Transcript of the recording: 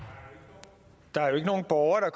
gå er